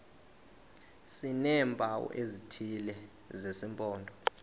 sineempawu ezithile zesimpondo